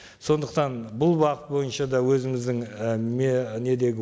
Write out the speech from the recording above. сондықтан бұл бағыт бойынша да өзіміздің і недегі